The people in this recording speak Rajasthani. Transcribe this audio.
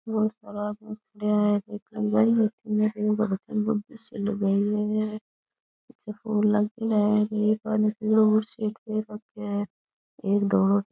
बहोत सारा आदमी खड़्या है एक लुगाई दिसे लुगाई पीछे फूल लागयोड़ा है एक आदमी पीलो बुसेट पहर रख्यो है एक धोलो --